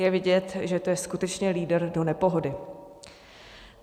Je vidět, že to je skutečně lídr do nepohody.